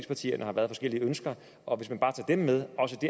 partier har været forskellige ønsker og hvis man bare tager dem med